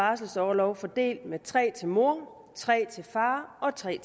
barselsorlov fordelt med tre måneder til mor tre måneder til far og tre